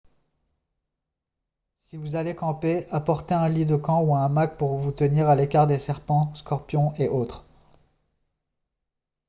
si vous allez camper apportez un lit de camp ou un hamac pour vous tenir à l'écart des serpents scorpions et autres